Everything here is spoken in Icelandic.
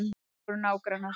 Við vorum nágrannar.